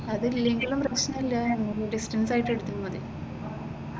അതിലെങ്കിലും പ്രശ്‌നമില്ല ഡിസ്റ്റൻസ് ആയിട്ട് എടുത്തുകൂടെ.